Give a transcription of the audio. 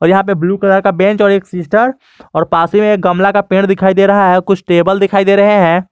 और यहाँ पे ब्लू कलर का बेंच और एक सिस्टर और पास ही में एक गमला का पेड़ दिखाई दे रहा है कुछ टेबल दिखाई दे रहे हैं।